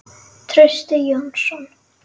Trausti Jónsson